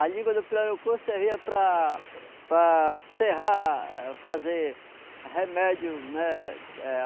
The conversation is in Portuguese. A língua do pirarucu servia para... para serrar, fazer remédio, né? Eh